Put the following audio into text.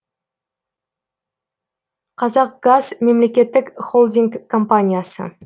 қазақгаз мемлекеттік холдинг компаниясы